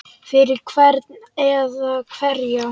Fyrir hvern eða hverja?